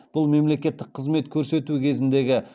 бұл мемлекеттік қызмет көрсету кезіндегі